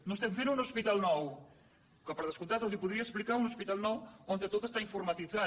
no es tem fent un hospital nou que per des comptat els po dria explicar un hospital nou on tot està informatitzat